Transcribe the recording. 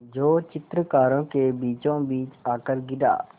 जो चित्रकारों के बीचोंबीच आकर गिरा